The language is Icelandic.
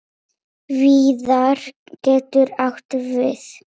Víðar getur átt við